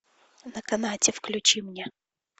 на канате включи мне